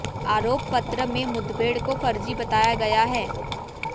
आरोप पत्र में मुठभेड़ को फर्जी बताया गया है